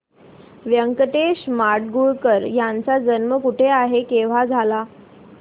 व्यंकटेश माडगूळकर यांचा जन्म कुठे आणि केव्हा झाला